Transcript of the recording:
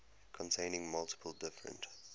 containing multiple different